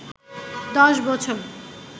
দশ বছর